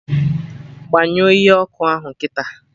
Gbanyụọ ihe ọkụ ahụ kịta!